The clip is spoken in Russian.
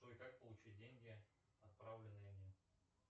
джой как получить деньги отправленные